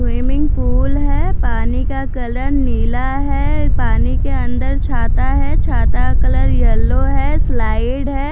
Swimming pool है पानी का कलर नीला है पानी के अन्दर छाता है छाता कलर येल्लो है स्लाइड है।